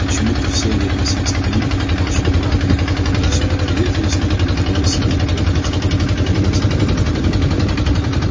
почему-то все они относились к нему как к младшему брату были всегда приветливы с ним но не давали себе труда хотя бы подразнить его